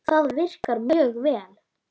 Það virkar mjög vel.